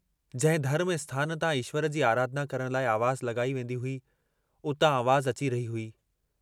जंहिं धर्म स्थान तां ईश्वर जी आराधना करण लाइ आवाज़ु लगाई वेन्दी हुई, उतां आवाज़ अची रही हुई।